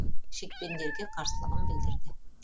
шекпендерге қарсылығын білдірді